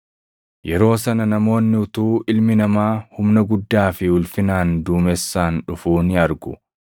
“Yeroo sana namoonni utuu Ilmi Namaa humna guddaa fi ulfinaan duumessaan dhufuu ni argu.